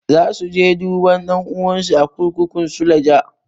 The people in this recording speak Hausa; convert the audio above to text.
Za su je duba ɗan'uwansu a kurkukun suleja.